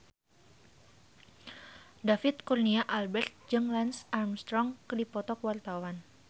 David Kurnia Albert jeung Lance Armstrong keur dipoto ku wartawan